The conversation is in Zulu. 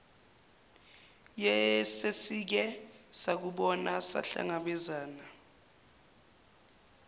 yesesike sakubona sahlangabezana